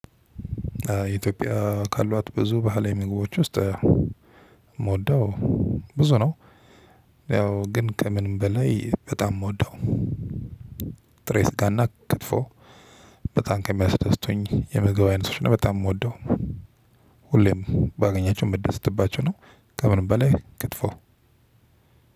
ኢትዮጵያ ካሏት ብዙ ባህላዊ ምግቦች ውስጥ የምወደው ብዙ ነው ያው ግን ከምንም በላይ በጣም የምወደው ጥሬ ስጋና ክትፎ በጣም ከሚያስደስቱኝ የምግብ አይነት ነው በጣም የምወደው ሁሌም ባገኛቸው የምደሰትባቸው ነው ከምን በላይ ክትፎ ነው።